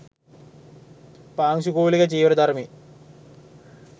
පාංශුකූලික චීවර දරමින්